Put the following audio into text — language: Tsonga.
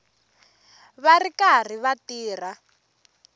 va ri karhi va tirha